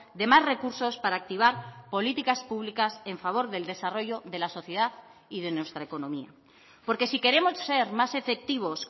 de más recursos para activar políticas públicas en favor del desarrollo de la sociedad y de nuestra economía porque si queremos ser más efectivos